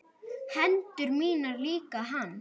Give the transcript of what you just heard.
Hendur mínar líka hans.